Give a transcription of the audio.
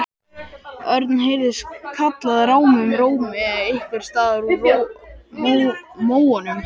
Örn! heyrðist kallað rámum rómi einhvers staðar úr móunum.